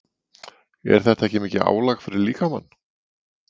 Er þetta ekki mikið álag fyrir líkamann?